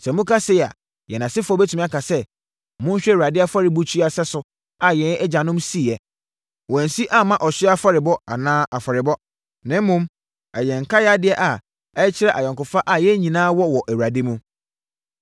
“Sɛ wɔka sei a, yɛn asefoɔ bɛtumi aka sɛ, ‘Monhwɛ Awurade afɔrebukyia sɛso a yɛn agyanom siiɛ. Wɔansi amma ɔhyeɛ afɔrebɔ anaa afɔrebɔ, na mmom, ɛyɛ nkae adeɛ a ɛkyerɛ ayɔnkofa a yɛn nyinaa wɔ wɔ Awurade mu.’